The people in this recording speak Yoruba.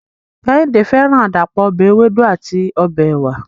Kehinde feran adapo ọbẹ ewedu ati ọbẹ ewa